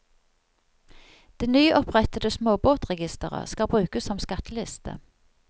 Det nyopprettede småbåtregistret skal brukes som skatteliste.